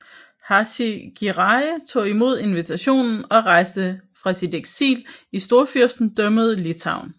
Hacı Giray tog imod deres invitation og rejste fra sit eksil i Storfyrstendømmet Litauen